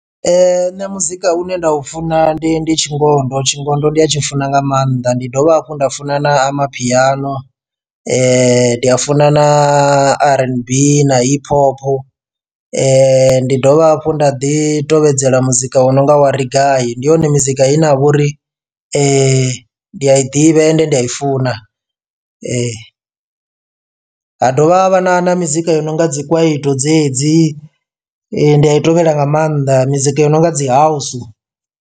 Nṋe muzika une nda u funa ndi ndi tshingondo tshingondo ndi atshi funa nga maanḓa ndi dovha hafhu nda funa na amapiano ndi a funa na rnb na hip hop ndi dovha hafhu nda ḓi tovhedzela muzika wo nonga wari gai. Ndi yone mizika i ne ya vha uri ndi a i ḓivha ende ndi a i funa ha dovha havha na na mizika yo no nga dzi kwaito dzedzi ndi a i tovhela nga maanḓa mizika yo no nga dzi house.